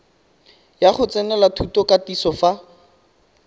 ya go tsenela thutokatiso fa